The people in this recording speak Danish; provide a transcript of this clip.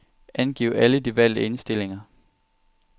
Angiv alle de valgte indstillinger.